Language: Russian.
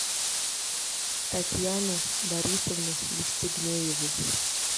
татьяну борисовну евстигнееву